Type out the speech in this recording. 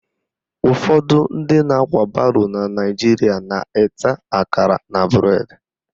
Ụfọdụ ndị na-akwa baro na Naijiria na-eta akara na bụredi